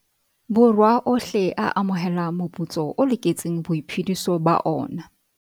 Borwa ohle a amohelang moputso o loketseng boiphediso ba ona.